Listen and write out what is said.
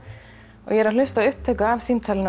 og ég er að hlusta á upptöku af símtalinu